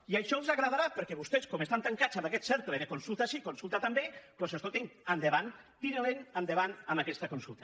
i això els agradarà perquè vostès com estan tancats en aquest cercle de consulta sí consulta també doncs escoltin endavant tirin endavant amb aquesta consulta